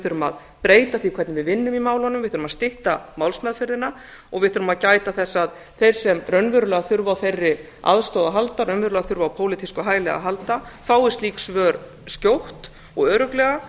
þurfum að breyta því hvernig við vinnum í málunum við þurfum að stytta málsmeðferðina og við þurfum að gæta þess að þeir sem raunverulega þurfa á þeirri aðstoð að halda þeir sem raunverulega þurfa á pólitísku hæli að halda fái slík svör skjótt og örugglega